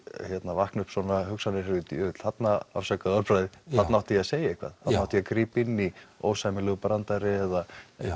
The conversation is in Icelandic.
vakna upp svona hugsanir ég veit þarna afsakaðu orðbragðið þarna átti ég að segja eitthvað þarna átti ég að grípa inn í ósæmilegur brandari eða